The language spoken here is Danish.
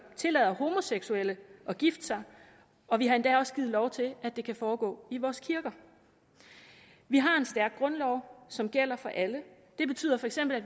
tillader homoseksuelle at gifte sig og vi har endda også givet lov til at det kan foregå i vores kirker vi har en stærk grundlov som gælder for alle det betyder feks at